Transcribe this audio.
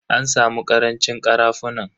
An samu karancin karafunan.